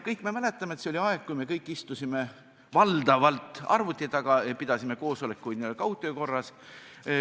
Kõik me mäletame, et see oli aeg, kui me kõik istusime valdavalt arvuti taga ja pidasime koosolekuid n-ö kaugtöö korras.